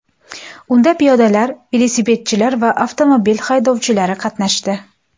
Unda piyodalar, velosipedchilar va avtomobil haydovchilari qatnashdi.